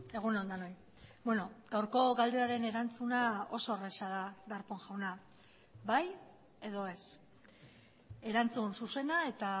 egun on denoi gaurko galderaren erantzuna oso erraza da darpón jauna bai edo ez erantzun zuzena eta